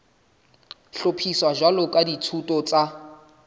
hlophiswa jwalo ka dithuto tsa